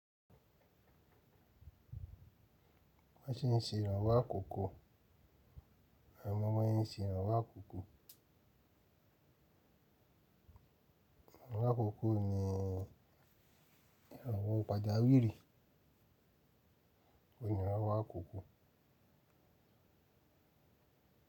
Bo ṣe se ìranwọ́ àkókò, e mo bi wọn ṣe se ìranwọ́ àkókò? Iranlowo àkókò ni ìranwọ́ pàjáwìrì, òní ranwọ́ àkókò.